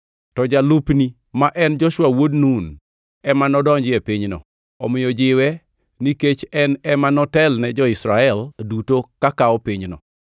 To jalupni ma en Joshua wuod Nun ema nodonji e pinyno. Omiyo jiwe nikech en ema notelne jo-Israel duto ka kawo pinyno.